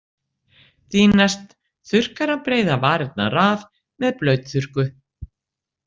Því næst þurrkar hann breiðar varirnar af með blautþurrku.